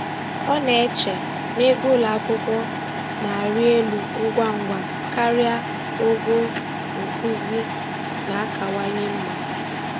Ọ na-eche na ego ụlọ akwụkwọ na-arị elu ngwa ngwa karịa ogo nkuzi na-akawanye mma.